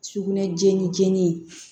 Sugunɛ jeni jeni